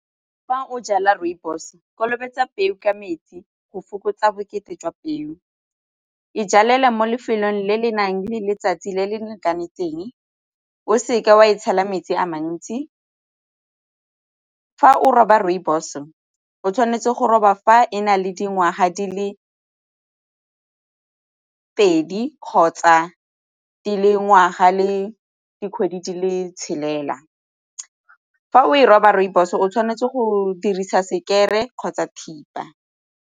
Fa o jala rooibos, kolobetso peo ka metsi go fokotsa bokete jwa peo. E jalele mo lefelong le le nang le letsatsi le le lekanetseng o seke wa e tshela metsi a mantsi. Fa o roba rooibos o tshwanetse go roba fa e na le dingwaga di le pedi kgotsa di le ngwaga le dikgwedi di le tshelela. Fa o e roba rooibos o tshwanetse go dirisa sekere kgotsa thipa.